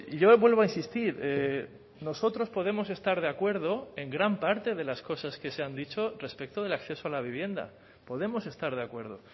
yo vuelvo a insistir nosotros podemos estar de acuerdo en gran parte de las cosas que se han dicho respecto del acceso a la vivienda podemos estar de acuerdo